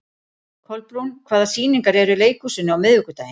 Kolbrún, hvaða sýningar eru í leikhúsinu á miðvikudaginn?